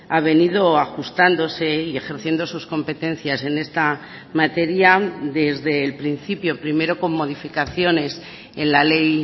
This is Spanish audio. ha venido ajustándose y ejerciendo sus competencias en esta materia desde el principio primero con modificaciones en la ley